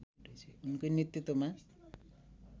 उनकै नेतृत्वमा